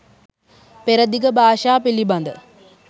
පෙරදිග භාෂා පිළිබඳ